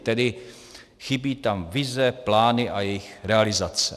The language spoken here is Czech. Tedy chybí tam vize, plány a jejich realizace.